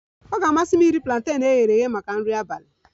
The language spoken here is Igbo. Ọ ga-amasị m iri planten e ghere eghe maka nri abalị